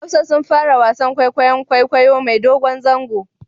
Hausa sun fara wasan kwaikwayon kwaikwayo mai dogon zango